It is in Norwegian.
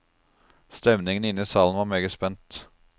Stemningen inne i salen var meget spent.